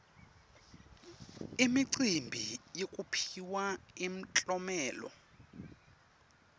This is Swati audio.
imicimbi yekuphiwa imiklomelo